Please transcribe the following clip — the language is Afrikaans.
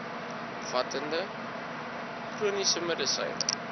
omvattende chroniese medisyne